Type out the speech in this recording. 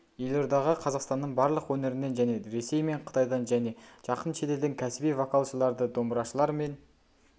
елордаға қазақстанның барлық өңірінен және ресей мен қытайдан және жақын шетелден кәсіби вокалшыларды домбырашылар мен